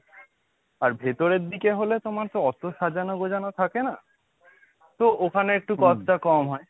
আর ভেতরের দিকে হলে তোমার তো অতো সাজানো গোছানো থাকে না, তো ওখানে cost টা একটু কম হয়।